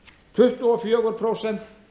tuttugu og fjögur prósent